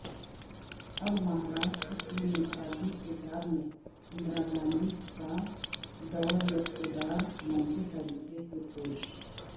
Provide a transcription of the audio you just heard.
اب مہاراشٹر کی نصابی کتاب میں اندرا گاندھی کا دوراقتدار منفی طریقے سے پیش